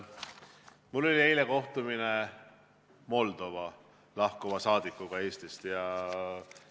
Mul oli eile kohtumine Eestist lahkuva Moldova saadikuga.